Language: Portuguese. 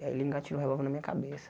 Ele engatilhou o revólver na minha cabeça.